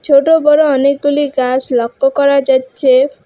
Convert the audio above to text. ছোট বড় অনেকগুলি গাস লক্ষ করা যাচ্ছে।